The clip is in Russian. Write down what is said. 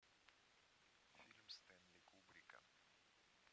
фильм стэнли кубрика